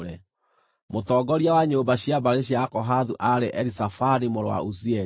Mũtongoria wa nyũmba cia mbarĩ cia Akohathu aarĩ Elizafani mũrũ wa Uzieli.